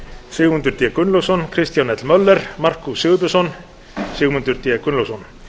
sigmundur d gunnlaugsson kristján l möller markús sigurbjörnsson sigmundur d gunnlaugsson